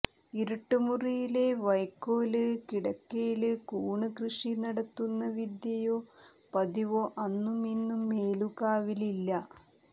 ഇരുട്ട് മുറിയിലെ വൈയ്ക്കോല് കിടക്കയില് കൂണ് കൃഷി നടത്തുന്ന വിദ്യയോ പതിവോ അന്നും ഇന്നും മേലുകാവിലില്ല